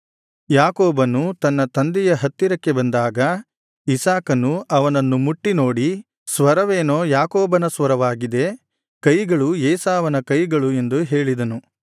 ಯಾಕೋಬನು ತನ್ನ ತಂದೆಯ ಹತ್ತಿರಕ್ಕೆ ಬಂದಾಗ ಇಸಾಕನು ಅವನನ್ನು ಮುಟ್ಟಿ ನೋಡಿ ಸ್ವರವೇನೋ ಯಾಕೋಬನ ಸ್ವರವಾಗಿದೆ ಕೈಗಳು ಏಸಾವನ ಕೈಗಳು ಎಂದು ಹೇಳಿದನು